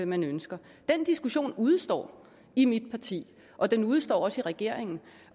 man ønsker den diskussion udestår i mit parti og den udestår også i regeringen